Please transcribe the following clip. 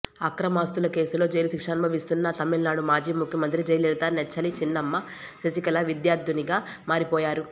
అక్రమాస్తుల కేసులో జైలు శిక్ష అనుభవిస్తున్న తమిళనాడు మాజీ ముఖ్యమంత్రి జయలలిత నెచ్చెలి చిన్నమ్మ శశికళ విద్యార్థినిగా మారిపోయారు